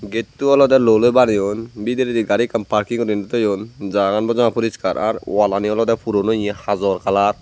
getto oley loloi baneyon bidiredi gari ekkan parking guriney toyon jagan bojoman puriskar ar oaalani olodey puron oye hajor kalar .